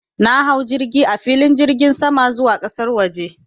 Na hau jirgi a filin jirgin sama zuwa ƙasan waje.